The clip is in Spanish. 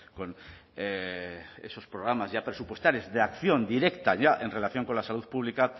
con esos programas ya presupuestarios de acción directa ya en relación con la salud pública